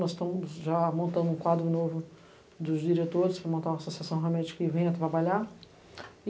Nós estamos já montando um quadro novo dos diretores para montar uma associação realmente que venha trabalhar.